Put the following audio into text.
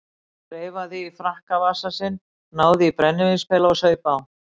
Hann þreifaði í frakkavasa sinn, náði í brennivínspela og saup á.